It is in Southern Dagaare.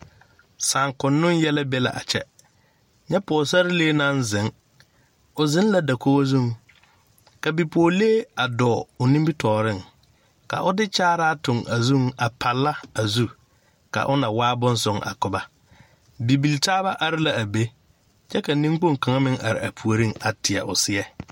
Saŋkoŋnoŋ yɛlɛ be la a kyɛ nyɛ pɔgesarelee naŋ ziŋ o ziŋ la dakog zuŋ ka bipɔgelee dɔɔ o nimitɔɔriŋ ka o de kyaaraa a tuŋ a zuŋ a palla a zu ka o na waa boŋ soŋ a ko ba bibiltaaba are la a ne kyɛ ka niŋkpoŋ kaŋ are a puoriŋ a teɛ o seɛ.